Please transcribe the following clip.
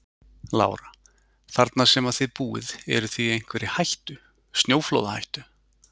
Lára: Þarna sem að þið búið eruð þið í einhverri hættu, snjóflóðahættu?